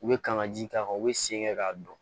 U bɛ kanga ji k'a kan u bɛ sen kɛ k'a dɔn